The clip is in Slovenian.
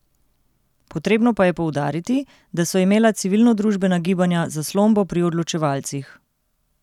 Potrebno pa je poudariti, da so imela civilnodružbena gibanja zaslombo pri odločevalcih.